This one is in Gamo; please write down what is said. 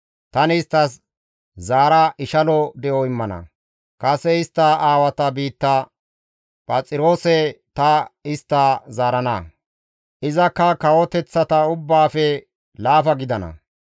Tani isttas zaara ishalo de7o immana; kase istta aawata biitta Phaxiroose ta istta zaarana; izakka kawoteththata ubbaafe laafa gidana.